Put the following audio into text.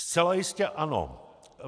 Zcela jistě ano.